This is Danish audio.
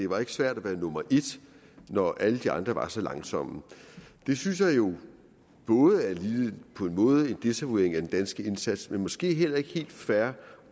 var svært at være nummer et når alle de andre var så langsomme det synes jeg jo på en måde er en desavouering af den danske indsats og måske heller ikke helt fair